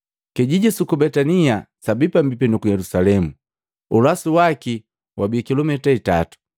Kijiji suku Betania sabi pambipi nuku Yelusalemu, ulasu waki wabi kilumita itatu.